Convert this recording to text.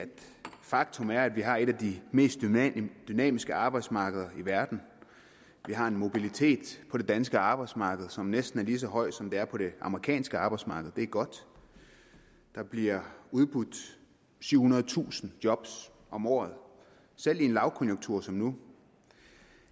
faktum er at vi har et af de mest dynamiske arbejdsmarkeder i verden vi har en mobilitet på det danske arbejdsmarked som næsten er lige så høj som den er på det amerikanske arbejdsmarked det er godt der bliver udbudt syvhundredetusind job om året selv i en lavkonjunktur som nu